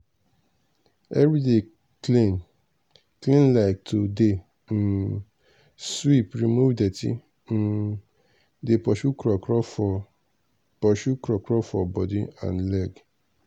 everyday clean clean like to dey um sweep remove dirty um dey pursue krokro for pursue krokro for body and leg.